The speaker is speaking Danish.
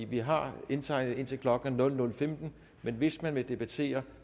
vi har indtegnet indtil klokken er nul nul femten men hvis man vil debattere